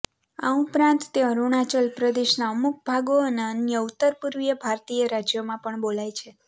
આ ઉપરાંત તે અરુણાચલ પ્રદેશનાં અમુક ભાગો અને અન્ય ઉતરપૂર્વીય ભારતીય રાજ્યોમાં પણ બોલાય છે